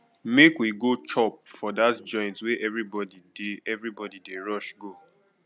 make we go chop for dat joint wey everybodi dey everybodi dey rush go